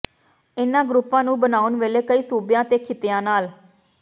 ਇਨ੍ਹਾਂ ਗਰੁੱਪਾਂ ਨੂੰ ਬਣਾਉਣ ਵੇਲੇ ਕਈ ਸੂਬਿਆਂ ਤੇ ਖਿੱਤਿਆਂ ਨਾਲ